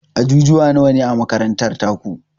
Ajujuwa nawane a makarantar taku?